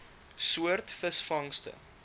soort visvangste